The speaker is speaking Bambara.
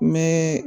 N bɛ